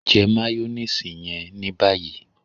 jẹ mayonnaise yẹn ní báyìí!